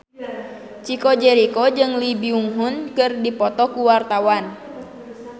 Chico Jericho jeung Lee Byung Hun keur dipoto ku wartawan